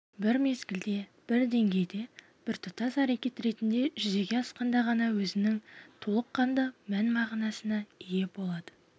бір мезгілде бір деңгейде біртұтас әрекет ретінде жүзеге асқанда ғана өзінің толыққанды мән-мағынасына ие болады